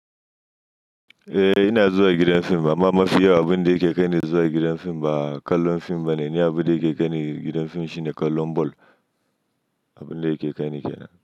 Eh ina zuwa gidan fim amma mafi yawan abun da yake kaine zuwa gidan fim ba kallon fim bane. Ni abun da yake kaine gidan fim shine kallon ball. Abun da yake kaini kenan.